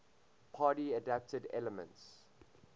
party adapted elements